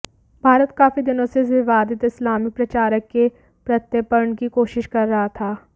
भारत काफी दिनों से इस विवादित इस्लामिक प्रचारक के प्रत्यर्पण की कोशिश कर रहा था